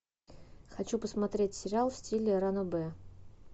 хочу посмотреть сериал в стиле ранобэ